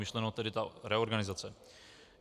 Myšleno tedy ta reorganizace.